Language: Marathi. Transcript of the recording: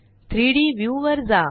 3डी व्ह्यू वर जा